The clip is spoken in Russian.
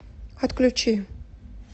отключи